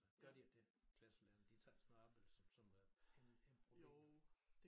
Gør de ikke dét klasselærerne de tager ikke sådan noget op eller som øh en ne problem